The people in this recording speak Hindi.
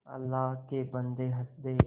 अल्लाह के बन्दे हंस दे